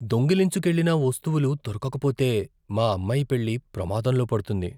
దొంగిలించుకెళ్ళిన వస్తువులు దొరకక పోతే, మా అమ్మాయి పెళ్లి ప్రమాదంలో పడుతుంది.